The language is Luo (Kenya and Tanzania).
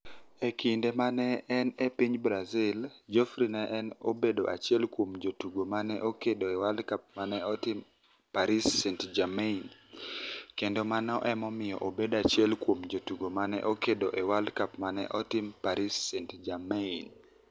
E kinide ma ni e eni e piniy Brazil, Geodfrey ni e obedo achiel kuom jotugo ma ni e okedo e World Cup ma ni e tim Paris St-Germaini, kenido mani e ni e omiyo obedo achiel kuom jotugo ma ni e okedo e World Cup ma ni e otim Paris St-Germaini.